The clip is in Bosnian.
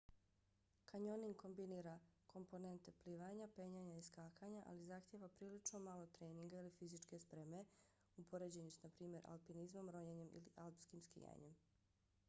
kanjoning kombinira komponente plivanja penjanja i skakanja ali zahtijeva prilično malo treninga ili fizičke spreme u poređenju s naprimjer alpinizmom ronjenjem ili alpskim skijanjem